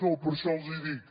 no per això els hi dic